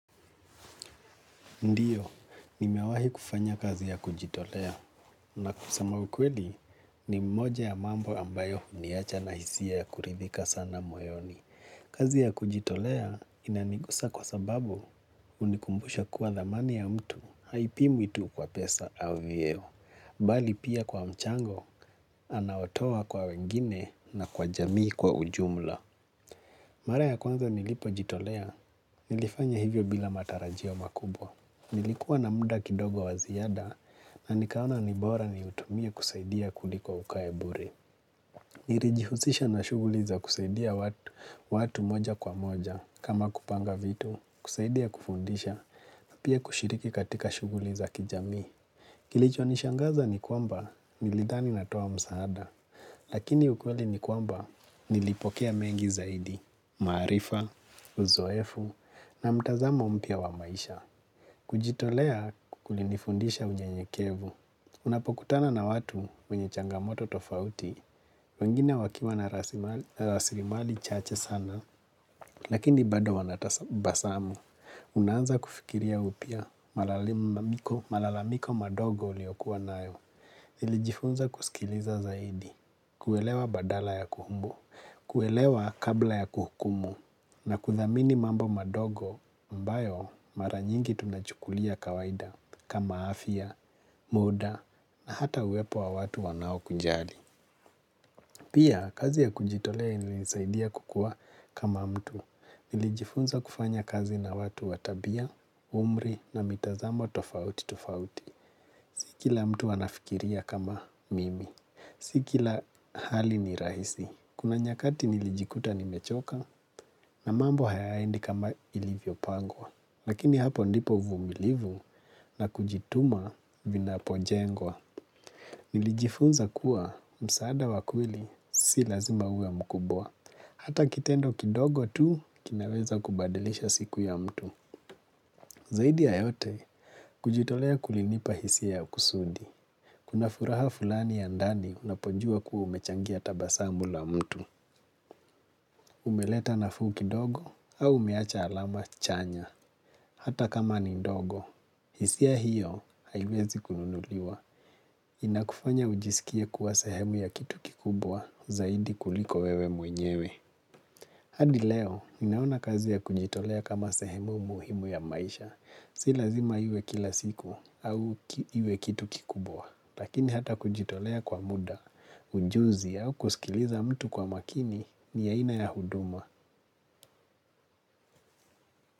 Ndiyo, nimewahi kufanya kazi ya kujitolea na kusema ukweli ni moja ya mambo ambayo huniacha na hisia ya kuridhika sana moyoni. Kazi ya kujitolea inanigusa kwa sababu hunikumbusha kuwa dhamani ya mtu, haipimwi tu kwa pesa au vieo. Bali pia kwa mchango, anaotoa kwa wengine na kwa jamii kwa ujumla. Mara ya kwanza nilipojitolea, nilifanya hivyo bila matarajio makubwa. Nilikuwa na muda kidogo wa ziada na nikaona nibora ni utumia kusaidia kuliko ukae bure. Nirijihusisha na shughuli za kusaidia watu moja kwa moja kama kupanga vitu, kusaidia kufundisha na pia kushiriki katika shughuli za kijamii. Kilicho nishangaza ni kwamba nilidhani natoa msaada, lakini ukweli ni kwamba nilipokea mengi zaidi, maarifa, uzoefu na mtazamo mpya wa maisha. Kujitolea kulinifundisha unyenyekevu. Unapokutana na watu wenye changamoto tofauti wengine wakiwa na rasilimali chache sana. Lakini bado wanatasabasamu. Unaanza kufikiria upya malalamiko madogo uliokuwa nayo. Iiijifunza kusikiliza zaidi. Kuelewa badala ya kuhumbu. Kuelewa kabla ya kuhukumu. Na kuthamini mambo madogo ambayo mara nyingi tunachukulia kawaida kama afya, muda na hata uwepo wa watu wanao kunjali. Pia, kazi ya kujitolea inilisaidia kukua kama mtu. Nilijifunza kufanya kazi na watu wa tabia, umri na mitazamo tofauti tofauti. Sikila mtu anafikiria kama mimi. Sikila hali ni rahisi. Kuna nyakati nilijikuta nimechoka na mambo hayaendi kama ilivyo pangwa. Lakini hapo ndipo uvumilivu na kujituma vinapojengwa. Nilijifunza kuwa msaada wakweli si lazima uwe mkubwa. Hata kitendo kidogo tu kinaweza kubadilisha siku ya mtu. Zaidi ya yote kujitolea kulinipa hisi ya kusudi. Kuna furaha fulani ya ndani unapojua kua umechangia tabasamu la mtu. Umeleta nafuu kidogo au umeacha alama chanya hata kama ni ndogo. Hisia hiyo haiwezi kununuliwa. Inakufanya ujisikie kuwa sehemu ya kitu kikubwa zaidi kuliko wewe mwenyewe. Hadi leo ninaona kazi ya kujitolea kama sehemu muhimu ya maisha. Silazima iwe kila siku au iwe kitu kikubwa. Lakini hata kujitolea kwa muda, ujuzi au kusikiliza mtu kwa makini ni aina ya huduma.